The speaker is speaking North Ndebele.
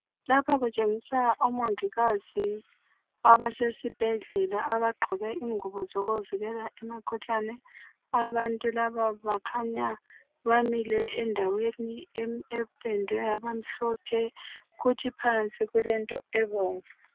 lapha kutshengisa omongikazi abesesibhedlela abagqoke izingubo ezibavikela emkhuhlaneni abantu laba bakhanya bamile endaweni ependwe yabamhlophe futhi phansi kulento emhlophe.